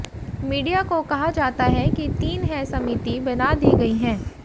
media को कहा जाता है कि तीन है समिति बना दी गई है